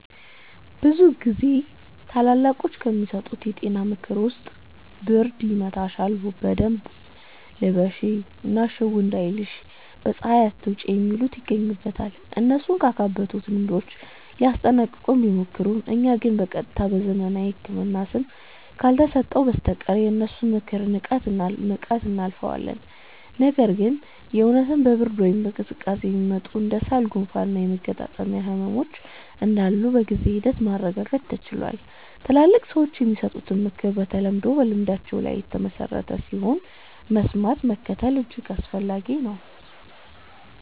ብዙ ጊዜ ታላላቆች ከሚሰጡን የጤና ምክር ውስጥ ብርድ ይመታሻል በደንብ ልበሺ እና ሽው እንዳይልሽ በ ፀሃይ አትውጪ የሚሉት ይገኙበታል። እነሱ ካካበቱት ልምዳቸው ሊያስጠነቅቁን ቢሞክሩም እኛ ግን በ ቀጥታ በዘመናዊው ህክምና ስም ካልተሰጠው በስተቀር የነሱን ምክር ንቀን እናልፈዋለን። ነገር ግን የ እውነትም በ ብርድ ወይም ቅዝቃዜ የሚመጡ እንደ ሳል፣ ጉንፋን እና የመገጣጠሚያ ህመሞች እንዳሉ በጊዜ ሂደት ማረጋገጥ ተችሏል። ትላልቅ ሰዎች የሚሰጡት ምክር በተለምዶ በልምዳቸው ላይ የተመሠረተ ስለሆነ፣ መስማትና መከተል እጅግ አስፈላጊ ነው።